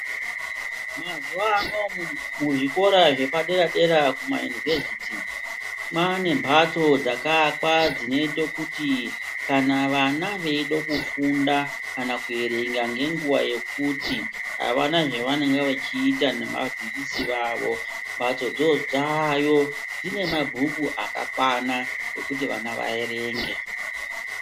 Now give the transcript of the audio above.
Mazuvaano muzvikora zvepadera-dera kumayunivhesiti kwaane mhatso dzakaakwa dzinoite kuti kana vana veide kufunda kana kuerenga ngenguva yekuti havana zvavanenge vaachiita nevadzidzisi vavo. Mhatsodzo dzayo, dzine mabhuku akakwana ekuti vana vaerenga.